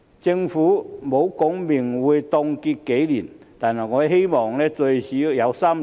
政府沒有說明會凍結多少年，但我希望最少有3年。